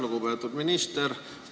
Lugupeetud minister!